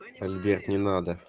альберт не надо